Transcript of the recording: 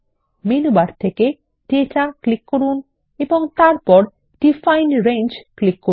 menu bar থেকে data click করুন এবং তারপর ডিফাইন রেঞ্জ ক্লিক করুন